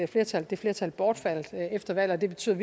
flertal det flertal bortfaldt efter valget og det betyder